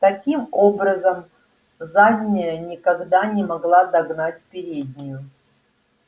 таким образом задняя никогда не могла догнать переднюю